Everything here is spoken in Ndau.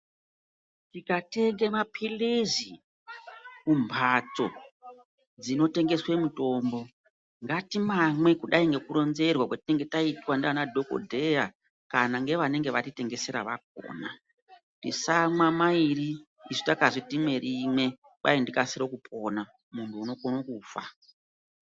Tikatenge mapilizi kumhatso dzinotengeswa mitombo ngatimamwe kudai ngekuronzerwa kwatinenge taitwa ngemadhokodheya kana ngevanenge vatitengesera vakhona tisamwa mairi isu takazi timwe rimwe kwai ndikasire kupona unokono kufa.